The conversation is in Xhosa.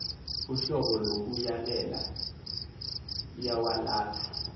uhlobo lokuyalela iwalatha